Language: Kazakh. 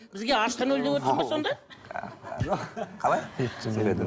бізге аштан өл деп отырсың ба сонда қалай